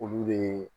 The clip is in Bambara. Olu de